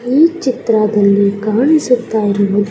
ಈ ಚಿತ್ರಾ ದಲ್ಲಿ ಕಾಣಿಸುತ್ತಾ ಇರುವುದು__